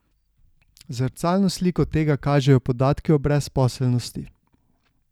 Zrcalno sliko tega kažejo podatki o brezposelnosti.